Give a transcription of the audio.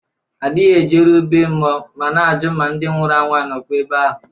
A dịghị ejeru bee mmụọ ma na-ajụ ma ndị nwụrụ anwụ a nọkwa ebe ahụ